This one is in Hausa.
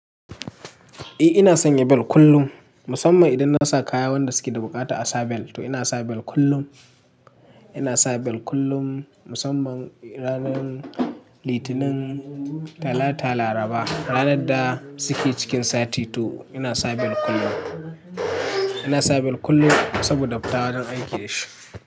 Eh ina sanya bel kullum musamman idan na sa kaya wanda suke da bukata a sa bel to ina sa bel kullum. Ina sa bel kullum musamman ranar Litinin, Talata, Laraba ranar da suke cikin sati to ina sa bel kullum. Ina sa bel kullum saboda fita wajen aiki da shi.